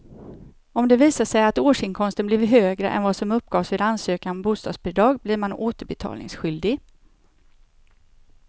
Om det visar sig att årsinkomsten blev högre än vad som uppgavs vid ansökan om bostadsbidrag blir man återbetalningsskyldig.